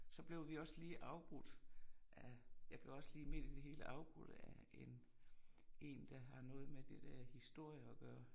Så blev vi også afbrudt af jeg blev også lige midt i det hele afbrudt af en en der har noget med det der historie og gøre